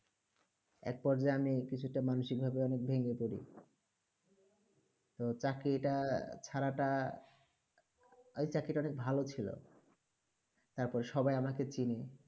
এর পর আমি কিছু তা মানসিক ভাবে ভেগ্নে পড়ি তো চাকরি তা ছারা তা ঐই চাকরি তা অনেক ভালো ছিল তার পর সবাঈ আমাকে চিনে